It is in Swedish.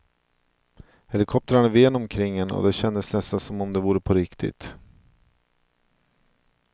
Helikoptrarna ven omkring en och det kändes nästan som om det vore på riktigt.